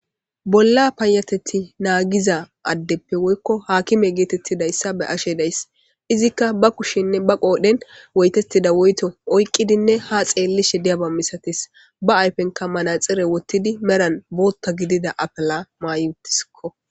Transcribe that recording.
Bolla payateti naagiza addeppe woykko haakime geetettidayssa be ashe dayss izikka ba kushenne ba qoodhen woytettida woyto oyqqidinne ha xeellishe diyaba misatis ba ayfenka manaxire wottidi meran bootta gidida apala maayutiskko.